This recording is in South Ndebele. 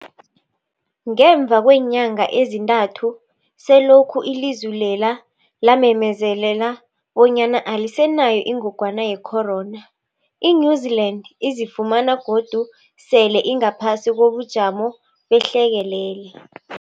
Ngemva kweenyanga ezintathu selokhu ilizwe lela lamemezela bonyana alisenayo ingogwana ye-corona, i-New-Zealand izifumana godu sele ingaphasi kobujamo behlekelele.